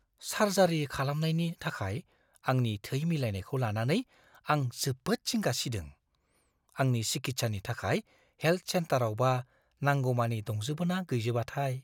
Surgery खालामनायनि थाखाय आंनि थै मिलायनायखौ लानानै आं जोबोद जिंगा सिदों। आंनि सिखित्सानि थाखाय हेल्थ सेन्टारावबा नांगौमानि दंजोबो ना गैजोबाथाय?